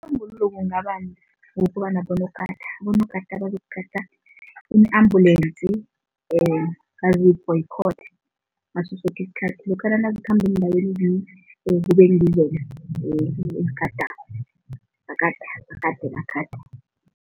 Isisombululo ukuba nabonogada. Abonogada bazokugada iin-ambulensi ngaso soke isikhathi, lokha nazikhamba eendaweni kubengizo-ke ezigadako, bakade bagade bagade.